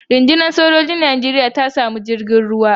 Runɗunar sojojin ruwan Najeriya ta samu sabon jirgin ruwa.